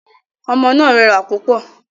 Omo náà rẹwà púpọ̀